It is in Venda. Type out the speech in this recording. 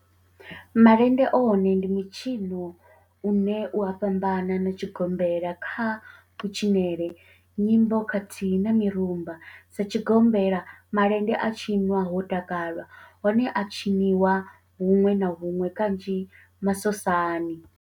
Malende one ndi mitshino une u a fhambana na tshigombela kha kutshinele, nyimbo khathihi na mirumba, Sa tshigombela, malende a tshinwa ho takalwa, one a a tshiniwa hunwe na hunwe kanzhi masosani.